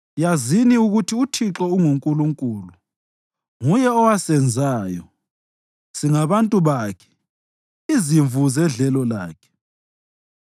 Yazini ukuthi uThixo unguNkulunkulu. Nguye owasenzayo, singabantu bakhe, izimvu zedlelo lakhe.